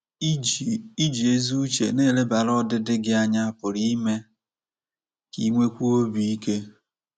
Iji Iji ezi uche na-elebara ọdịdị gị anya pụrụ ime ka i nwekwuo obi ike.